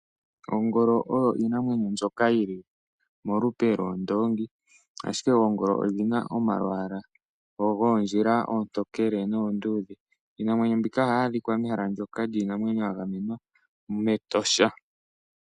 Ongolo oyo oshinamwenyo shoka shili molupe londoongi . Oongolo odhina omalwaala goondjila oontookele noonduudhe. Iinamwenyo mbika ohayi adhika mehala lyoka lya gamenwa metosha.